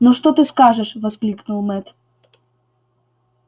ну что ты скажешь воскликнул мэтт